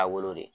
Taabolo de